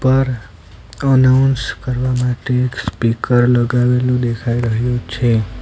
પર અનાઉન્સ કરવા માટે એક સ્પીકર લગાવેલું દેખાય રહ્યું છે.